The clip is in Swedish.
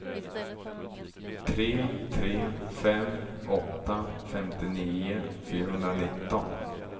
tre tre fem åtta femtionio fyrahundranitton